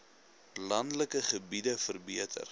landelike gebiede verbeter